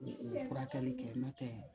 U furakɛli kɛ n'o tɛ